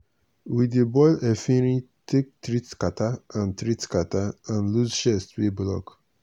we dey boil efirin take treat catarrh and treat catarrh and loose chest wey block.